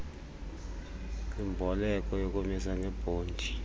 kwimboleko yokumisa ngebhondi